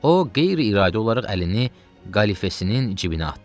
O, qeyri-iradı olaraq əlini qəlifəsinin cibinə atdı.